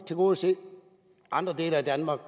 tilgodese andre dele af danmark